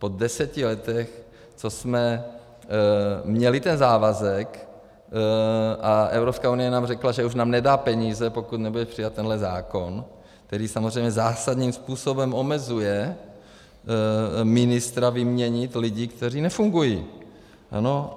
Po deseti letech, co jsme měli ten závazek a Evropská unie nám řekla, že už nám nedá peníze, pokud nebude přijat tenhle zákon, který samozřejmě zásadním způsobem omezuje ministra vyměnit lidi, kteří nefungují?